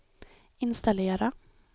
installera